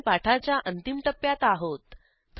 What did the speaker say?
आपण पाठाच्या अंतिम टप्प्यात आहोत